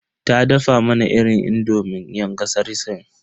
Ta dafa mana irin indomin yan kasar sin.